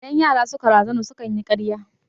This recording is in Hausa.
Idan yara suka razana sukan yi karya